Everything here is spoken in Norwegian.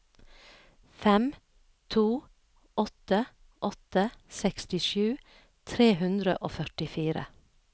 fem to åtte åtte sekstisju tre hundre og førtifire